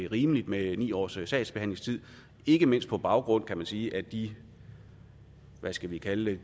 rimeligt med ni års sagsbehandlingstid ikke mindst på baggrund kan man sige af de hvad skal vi kalde